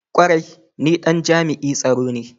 Kwarai! ni Dan jami'i tsaro ne.